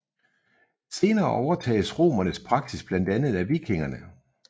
Senere overtages romernes praksis blandt andet af vikingerne